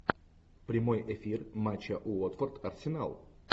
прямой эфир матча уотфорд арсенал